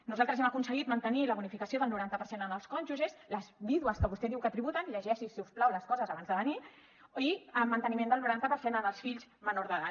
nosaltres hem aconseguit mantenir la bonificació del noranta per cent en els cònjuges les vídues que vostè diu que tributen llegeixi’s si us plau les coses abans de venir i el manteniment del noranta per cent en els fills menors d’edat